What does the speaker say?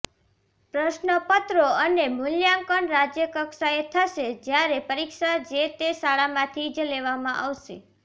પ્રશ્નપત્રો અને મુલ્યાંકન રાજ્યકક્ષાએ થશે જ્યારે પરીક્ષા જે તે શાળામાંથી જ લેવામાં આવશે